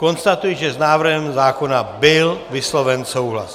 Konstatuji, že s návrhem zákona byl vysloven souhlas.